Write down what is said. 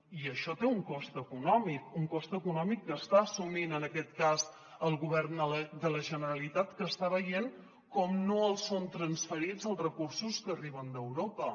i això té un cost econòmic un cost econòmic que està assumint en aquest cas el govern de la generalitat que està veient com no els són transferits els recursos que arriben d’europa